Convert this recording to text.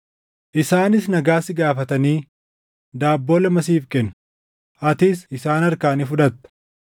Isaanis nagaa si gaafatanii daabboo lama siif kennu; atis isaan harkaa ni fudhatta.